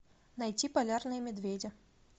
найти полярные медведи